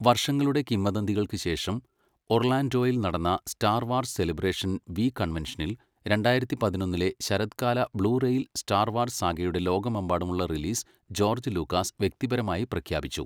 വർഷങ്ങളുടെ കിംവദന്തികൾക്ക് ശേഷം, ഒർലാൻഡോയിൽ നടന്ന സ്റ്റാർ വാർസ് സെലിബ്രേഷൻ വി കൺവെൻഷനിൽ, രണ്ടായിരത്തി പതിനൊന്നിലെ ശരത്കാലത്തിൽ ബ്ലൂ റേയിൽ സ്റ്റാർ വാർസ് സാഗയുടെ ലോകമെമ്പാടുമുള്ള റിലീസ് ജോർജ്ജ് ലൂക്കാസ് വ്യക്തിപരമായി പ്രഖ്യാപിച്ചു.